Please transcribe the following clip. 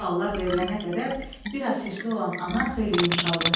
Bu suallar verilənə qədər bir az hirsli olan ana xeyli yumşaldı.